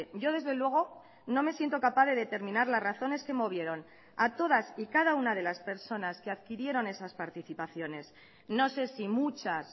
yo desde luego no me siento capaz de determinar las razones que movieron a todas y cada una de las personas que adquirieron esas participaciones no sé si muchas